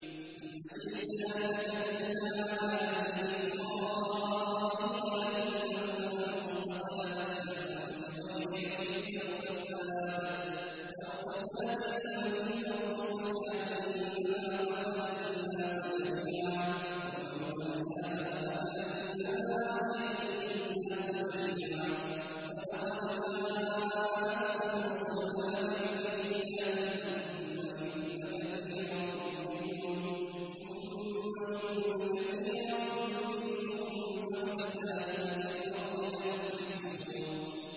مِنْ أَجْلِ ذَٰلِكَ كَتَبْنَا عَلَىٰ بَنِي إِسْرَائِيلَ أَنَّهُ مَن قَتَلَ نَفْسًا بِغَيْرِ نَفْسٍ أَوْ فَسَادٍ فِي الْأَرْضِ فَكَأَنَّمَا قَتَلَ النَّاسَ جَمِيعًا وَمَنْ أَحْيَاهَا فَكَأَنَّمَا أَحْيَا النَّاسَ جَمِيعًا ۚ وَلَقَدْ جَاءَتْهُمْ رُسُلُنَا بِالْبَيِّنَاتِ ثُمَّ إِنَّ كَثِيرًا مِّنْهُم بَعْدَ ذَٰلِكَ فِي الْأَرْضِ لَمُسْرِفُونَ